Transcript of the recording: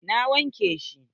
Na wanke shi.